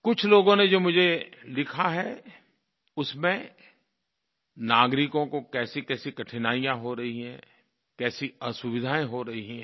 कुछ लोगों ने जो मुझे लिखा है उसमें नागरिकों को कैसीकैसी कठिनाइयाँ हो रही है कैसी असुविधायें हो रही हैं